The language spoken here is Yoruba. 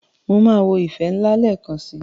Máa wo "ìfẹ́ ńlá" lẹ́ẹ̀kan si.